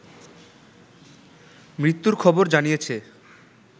মৃত্যুর খবর জানিয়েছে